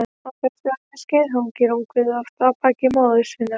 Á þessu æviskeiði hangir ungviðið oft á baki móður sinnar.